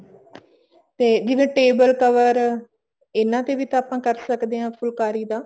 ਤੇ ਜਿਵੇਂ table cover ਇਹਨਾ ਤੇ ਵੀ ਆਪਾਂ ਕਰ ਸਕਦੇ ਹਾਂ ਫੁਲਕਾਰੀ ਦਾ